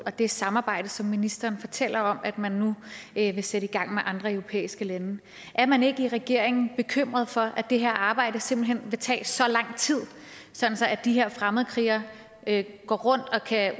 og det samarbejde som ministeren fortæller om man nu vil sætte i gang med andre europæiske lande er man i regeringen bekymret for at det her arbejde simpelt hen vil tage så lang tid sådan at de her fremmedkrigere kan gå rundt og